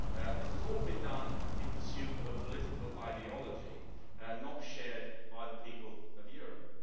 This has all been done in pursuit of a political ideology not shared by the people of Europe.